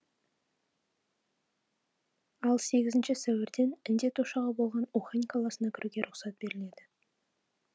ал сегізінші сәуірден індет ошағы болған ухань қаласына кіруге рұқсат беріледі